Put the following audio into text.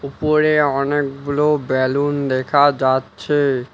উপরে অনেকগুলো বেলুন দেখা যাচ্ছে।